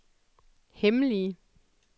hemmelige